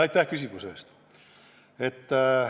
Aitäh küsimuse eest!